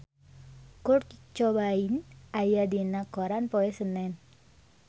Kurt Cobain aya dina koran poe Senen